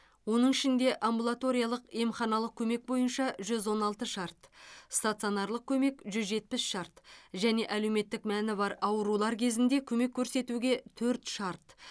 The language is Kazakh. оның ішінде амбулаториялық емханалық көмек бойынша жүз он алты шарт стационарлық көмек жүз жетпіс шарт және әлеуметтік мәні бар аурулар кезінде көмек көрсетуге төрт шарт